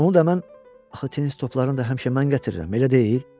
Onu da mən axı tenis toplarını da həmişə mən gətirirəm, elə deyil?